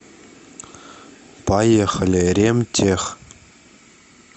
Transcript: поехали ремтех